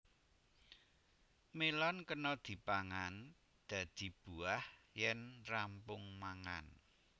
Mélon kena dipangan dadi buah yén rampung mangan